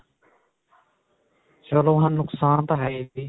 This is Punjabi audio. ਚਲੋ ਨੁਕਸਾਨ ਤਾਂ ਹੈ ਹੀ